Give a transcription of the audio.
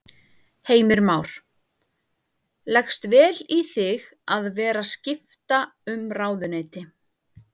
Heimir Már: Leggst vel í þig að vera skipta um ráðuneyti?